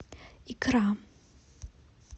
икра